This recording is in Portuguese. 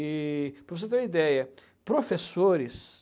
E para você ter uma ideia, professores...